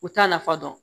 U t'a nafa dɔn